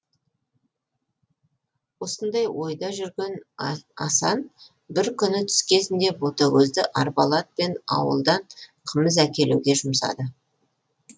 осындай ойда жүрген асан бір күні түс кезінде ботагөзді арбалы атпен ауылдан қымыз әкелуге жұмсады